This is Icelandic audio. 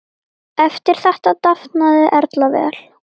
Eftir þetta dafnaði Erla vel.